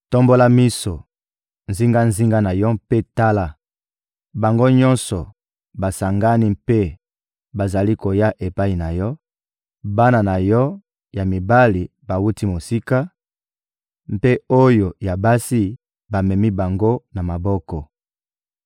Tombola miso zingazinga na yo mpe tala: Bango nyonso basangani mpe bazali koya epai na yo; bana na yo ya mibali bawuti mosika, mpe oyo ya basi, bamemi bango na maboko.